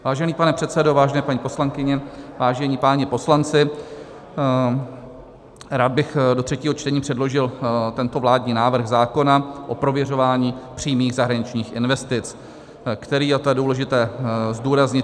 Vážený pane předsedo, vážené paní poslankyně, vážení páni poslanci, rád bych do třetího čtení předložil tento vládní návrh zákona o prověřování přímých zahraničních investic, který - a to je důležité zdůraznit -